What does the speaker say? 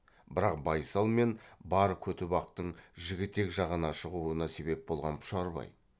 бірақ байсал мен бар көтібақтың жігітек жағына шығуына себеп болған пұшарбай